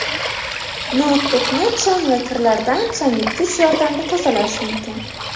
Noutbukni chang va kirlardan changyutgich yordamida tozalash mumkin.